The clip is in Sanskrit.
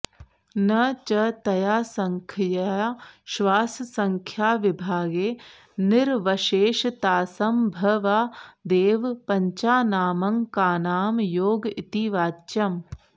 न च तया सङ्ख्यया श्वाससङ्ख्याविभागे निरवशेषतासंभवादेव पञ्चानामङ्कानां योग इति वाच्यम्